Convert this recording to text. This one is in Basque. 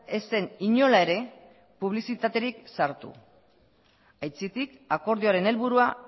ez zen inola ere publizitaterik sartu aitzitik akordioaren helburua